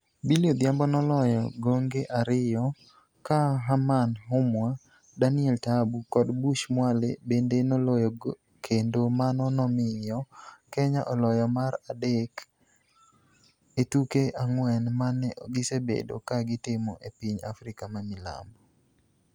Billy Odhiambo noloyo gonge ariyo ka Herman Humwa, Daniel Taabu kod Bush Mwale bende noloyo kendo mano nomiyo Kenya oloyo mar adek e tuke ang'wen ma ne gisebedo ka gitimo e piny Africa mamilambo.